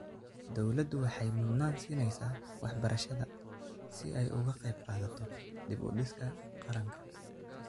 Dawladdu waxay mudnaan siinaysaa waxbarashada si ay uga qayb qaadato dib u dhiska qaranka.